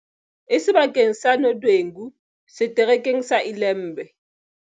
E seba keng sa Nodwengu, Setere keng sa Ilembe.